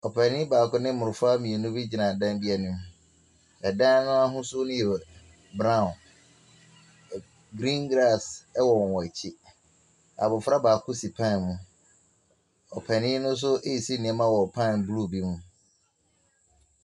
Opanin baako ne mmɔfra mmienu be gyina dan be anim. Ɛdan no ahusuo ne yɛ brauw. Griin gras ɛwɔ wɔn akyi. Abɔfra baako si paen mu. Opanin no nso esi nnoɔma wɔ paen blu mu.